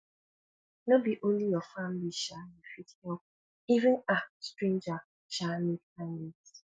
no be only your family um you fit help even um stranger um need kindness